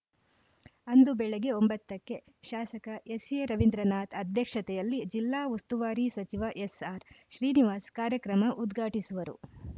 ಅಂದು ಬೆಳಗ್ಗೆ ಒಂಬತ್ತ ಕ್ಕೆ ಶಾಸಕ ಎಸ್‌ಎರವೀಂದ್ರನಾಥ್‌ ಅಧ್ಯಕ್ಷತೆಯಲ್ಲಿ ಜಿಲ್ಲಾ ಉಸ್ತುವಾರಿ ಸಚಿವ ಎಸ್‌ಆರ್‌ಶ್ರೀನಿವಾಸ್ ಕಾರ್ಯಕ್ರಮ ಉದ್ಘಾಟಿಸುವರು